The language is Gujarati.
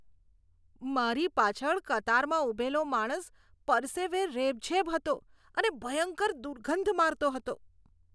મારી પાછળ કતારમાં ઊભેલો માણસ પરસેવે રેબઝેબ હતો અને ભયંકર દુર્ગંધ મારતો હતો.